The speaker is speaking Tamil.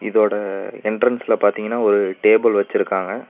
இதோட என்ட்ரன்ஸ்ல பாத்தீங்கன்னா ஒரு டேபிள் வச்சிருக்காங்க.